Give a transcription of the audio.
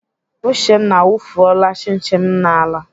Uchenna awufuola chin chin m n'ala.